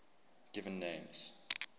given names